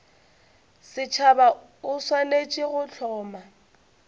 setšhaba o swanetše go hloma